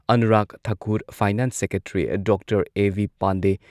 Anurag Thakur, finance secretary doctor A B Pandey,